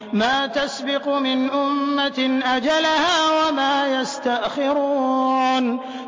مَا تَسْبِقُ مِنْ أُمَّةٍ أَجَلَهَا وَمَا يَسْتَأْخِرُونَ